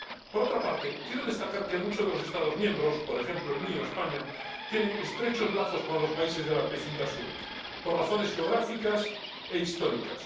Por otra parte, quiero destacar que muchos de los Estados miembros —por ejemplo, el mío, España— tienen estrechos lazos con los países de la vecindad sur por razones geográficas e históricas.